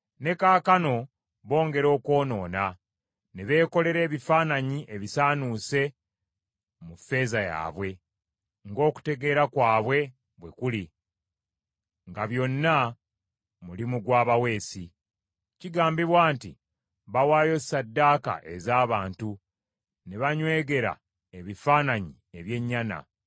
Ne kaakano bongera okwonoona; ne beekolera ebifaananyi ebisaanuuse mu ffeeza yaabwe, ng’okutegeera kwabwe bwe kuli, nga byonna mulimu gw’abaweesi. Kigambibwa nti, “Bawaayo ssaddaaka ez’abantu, ne banywegera ebifaananyi eby’ennyana.”